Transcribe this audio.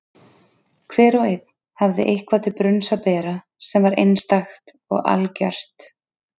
Hver og einn hafði eitthvað til brunns að bera sem var einstakt og algert.